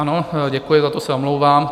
Ano, děkuji, za to se omlouvám.